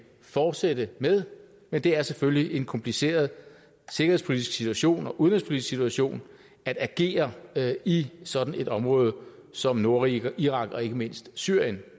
fortsætte med men det er selvfølgelig en kompliceret sikkerhedspolitisk situation og udenrigspolitisk situation at agere i sådan et område som nordirak og ikke mindst syrien